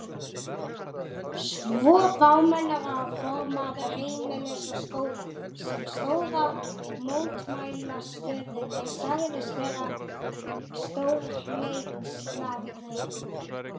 Svo fámennur að formaður Heimilis og Skóla, sem stóð að mótmælastöðunni sagðist vera stórhneykslaður.